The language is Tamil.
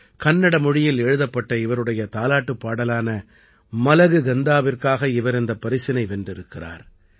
கன்னட மொழியில் எழுதப்பட்ட இவருடைய தாலாட்டுப் பாடலான மலகு கந்தாவிற்காக இவர் இந்தப் பரிசினை வென்றிருக்கிறார்